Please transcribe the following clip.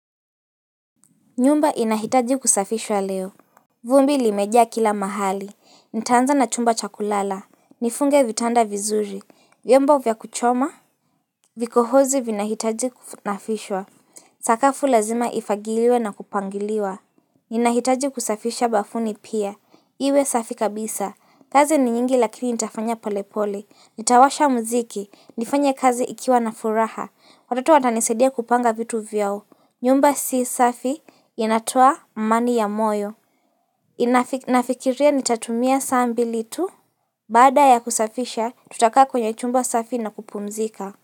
Nyumba inahitaji kusafishwa leo vumbi limeja kila mahali, nitaanza na chumba cha kulala, nifunge vitanda vizuri, vyombo vya kuchoma Vikohozi vina hitaji kunafishwa, sakafu lazima ifagiliwe na kupangiliwa Inahitaji kusafisha bafuni pia, iwe safi kabisa, kazi ni nyingi lakini nitafanya polepole, nitawasha mziki, nifanye kazi ikiwa na furaha, watoto watanisedia kupanga vitu vyao nyumba si safi inatoa mmani ya moyo. Nafikiria nitatumia sambili tu. Bada ya kusafisha, tutaka kwenye chumba safi na kupumzika.